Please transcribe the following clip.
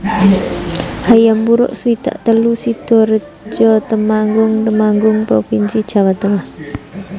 Hayam Wuruk swidak telu Sidorejo Temanggung Temanggung provinsi Jawa Tengah